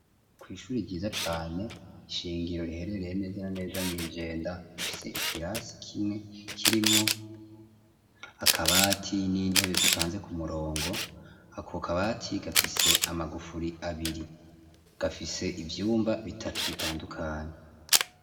Kw'ishuri ryiza cane shingiro, riherereye neza na neza mw'Ijenda, rifise ikirasi kimwe, kirimwo akabati n'intebe zipanze ku murongo, ako kabati gafise amagufuri abiri, gafise ivyumba bitatu bitandukanye.